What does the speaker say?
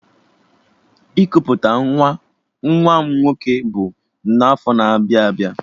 Ikuputa nwa nwa m nwoke bụ n'afọ na-abịa abịa